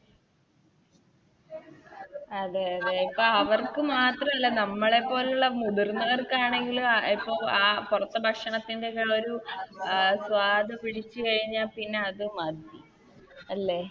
അതെ അതെ പ്പവർക്ക് മാത്രല്ല നമ്മളെപ്പോലുള്ള മുതിർന്നവർക്കാണെങ്കിലു ഇപ്പൊ ആ പൊറത്തെ ഭക്ഷണത്തിൻറെ ആ ഒരു സ്വാദു പിടിച്ച് കഴിഞ്ഞ പിന്നെ അത് മതി അല്ലെ